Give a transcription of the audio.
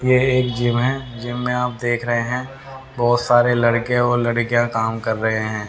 ये एक जिम है जिम आप देख रहे हैं बहोत सारे लड़के और लड़कियां काम कर रहे हैं।